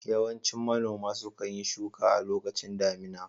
Yawancin manoma sukan yi shuka a lokacin damina